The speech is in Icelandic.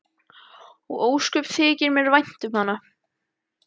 Og ósköp þykir mér vænt um hana.